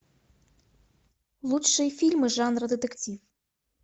лучшие фильмы жанра детектив